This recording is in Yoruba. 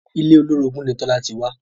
Ilé olórogún ni Tola ti wá